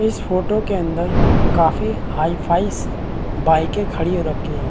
इस फोटो के अंदर काफी हाई फाई बाइके खड़ी रखी है।